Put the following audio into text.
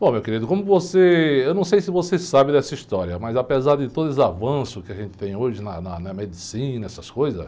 Bom, meu querido, como você... Eu não sei se você sabe dessa história, mas apesar de todos os avanços que a gente tem hoje na na medicina, essas coisas...